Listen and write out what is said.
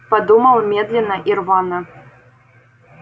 подумал медленно и рвано